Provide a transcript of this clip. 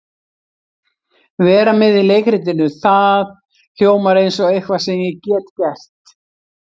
Vera með í leikritinu, það hljómar eins og eitthvað sem ég get gert.